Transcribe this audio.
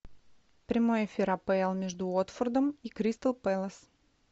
прямой эфир апл между уотфордом и кристал пэлас